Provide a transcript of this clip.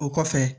O kɔfɛ